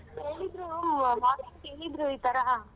ಏಳಿದರೂ ಕೇಳಿದ್ರು ಈ ತರಾ .